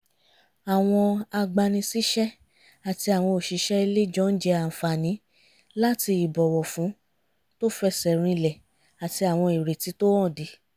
àwọn agbani-síṣẹ́ àti àwọn òṣìṣẹ́ ilé jọ ń jẹ àǹfààní láti ìbọ̀wọ̀fún tó fẹsẹ̀ rinlẹ̀ àti àwọn ìrètí tó hànde